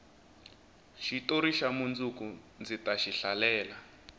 xitori xa mundzuku ndzi taxi hlalela